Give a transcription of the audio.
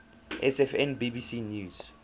sfn bbc news